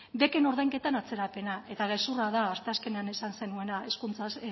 beken ordainketan atzerapena eta gezurra da asteazkenean esan zenuena